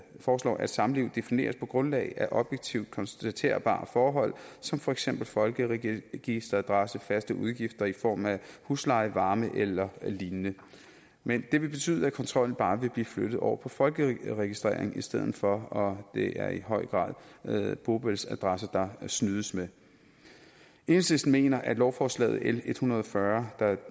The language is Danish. foreslår at samliv defineres på grundlag af objektivt konstaterbare forhold som for eksempel folkeregisteradresse faste udgifter i form af husleje varme eller lignende men det vil betyde at kontrollen bare vil blive flyttet over på folkeregistrering i stedet for og det er i høj grad bopælsadresse der snydes med enhedslisten mener at lovforslaget l en hundrede og fyrre der